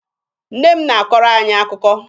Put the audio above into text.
Nne m na-akọrọ anyị akụkọ.